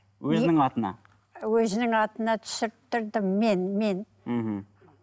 өзінің атына өзінің атына түсірттірдім мен мен мхм